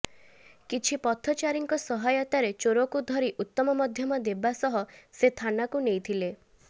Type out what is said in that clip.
କିଛି ପଥଚାରୀଙ୍କ ସହାୟତାରେ ଚୋରକୁ ଧରି ଉତ୍ତମ ମଧ୍ୟମ ଦେବା ସହ ସେ ଥାନାକୁ ନେଇଥିଲେ